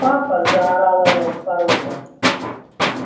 папа заорала я с порога